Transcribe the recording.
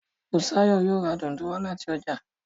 Busayo yóò rá Dùndú wá láti ọjà.